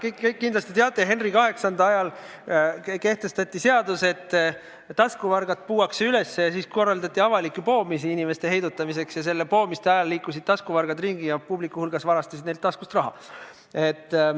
Te kõik kindlasti teate, kuidas Henry VIII ajal kehtestati seadus, et taskuvargad puuakse üles, inimeste heidutamiseks korraldati avalikke poomisi ja poomiste ajal liikusid taskuvargad publiku hulgas ringi ja varastasid neilt taskust raha.